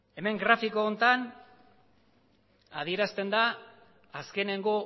hemen grafiko honetan adierazten da azkeneko